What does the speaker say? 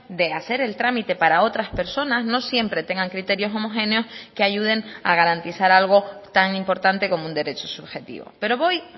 de hacer el trámite para otras personas no siempre tengan criterios homogéneos que ayuden a garantizar algo tan importante como un derecho subjetivo pero voy